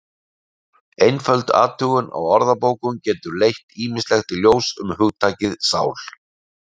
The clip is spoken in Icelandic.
Einföld athugun á orðabókum getur leitt ýmislegt í ljós um hugtakið sál.